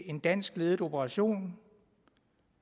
en dansk ledet operation